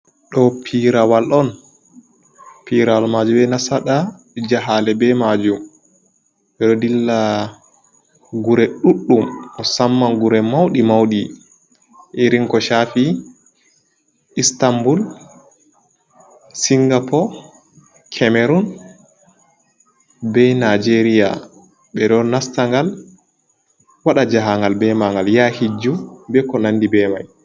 Ɗoo Piirawal on, Piirawal maaju bee nasaɗa jahaale bee maajum. Ɓe ɗo dilla gure ɗuɗɗum, musamman gure mawɗi mawɗi, irin ko shaafi Istambul, Singapo, Kemerun bee Nijeeriya. Ɓe ɗo nasta ngal waɗa jahaangal bee maagal yaha hijju bee ko nanndi bee may.